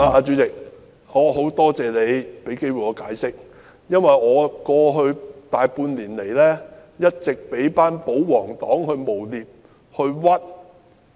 主席，我很感謝你讓我有機會解釋，因為在過去大半年，我一直被保皇黨誣衊。